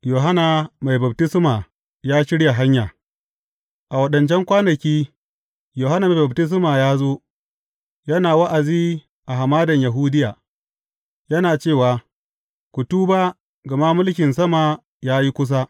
Yohanna Mai Baftisma ya shirya hanya A waɗancan kwanaki, Yohanna Mai Baftisma ya zo, yana wa’azi a Hamadan Yahudiya yana cewa, Ku tuba, gama mulkin sama ya yi kusa.